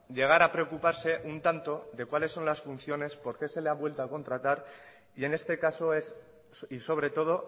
llegar a preocuparse un tanto de cuáles son las funciones por qué se le ha vuelto a contratar y en este caso es y sobre todo